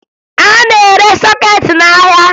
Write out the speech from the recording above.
A na-ere sọkeetị n'ahịa